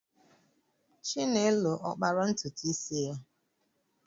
Chinelo ọ kpara ntutu isi ya?